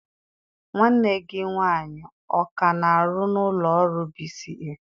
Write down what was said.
Nwanne gị nwaanyị ọ ka na-arụ n'ụlọ ọrụ B.C.A?